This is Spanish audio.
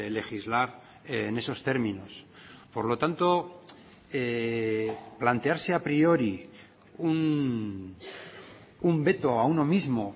legislar en esos términos por lo tanto plantearse a priori un veto a uno mismo